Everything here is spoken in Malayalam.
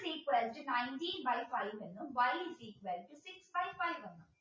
is equal to nineteen by five y is equal to six by five